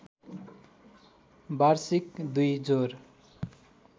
वार्षिक २ जोर